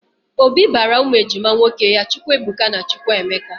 Obi bara ụmụ ejima nwoke ya Chukwuebuka na Chukwuemeka